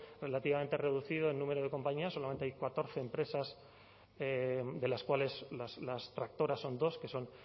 relativamente reducido en número de compañías solamente hay catorce empresas de las cuales las tractoras son dos que son